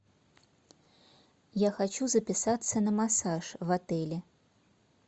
я хочу записаться на массаж в отеле